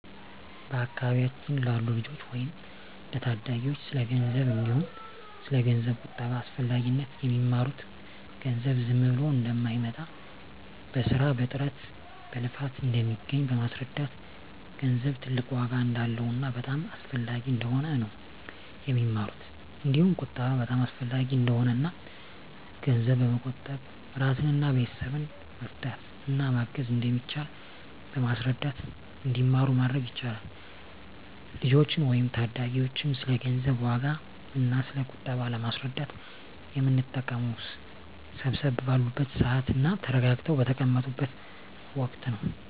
በአካባቢያችን ላሉ ልጆች ወይም ለታዳጊዎች ስለ ገንዘብ እንዲሁም ስለ ገንዘብ ቁጠባ አስፈላጊነት የሚማሩት ገንዘብ ዝም ብሎ እንደማይመጣ በስራ በጥረት በልፋት እንደሚገኝ በማስረዳት ገንዘብ ትልቅ ዋጋ እንዳለውና በጣም አስፈላጊ እንደሆነ ነው የሚማሩት እንዲሁም ቁጠባ በጣም አሰፈላጊ እንደሆነና እና ገንዘብ በመቆጠብ እራስንና ቤተሰብን መርዳት እና ማገዝ እንደሚቻል በማስረዳት እንዲማሩ ማድረግ ይቻላል። ልጆችን ወይም ታዳጊዎችን ስለ ገንዘብ ዋጋ እና ስለ ቁጠባ ለማስረዳት የምንጠቀመው ሰብሰብ ባሉበት ስዓት እና ተረጋግተው በተቀመጡት ወቀት ነው።